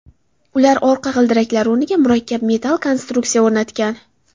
Ular orqa g‘ildiraklar o‘rniga murakkab metall konstruksiya o‘rnatgan.